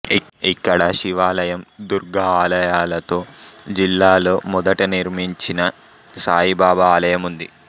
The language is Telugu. ఇక్కడ శివాలయం దుర్గా ఆలయాలతో జిల్లాలో మొదట నిర్మించిన సాయిబాబా ఆలయం ఉంది